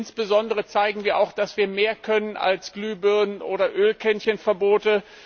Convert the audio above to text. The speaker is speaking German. Insbesondere zeigen wir dadurch auch, dass wir mehr können als Glühbirnen oder Ölkännchen Verbote.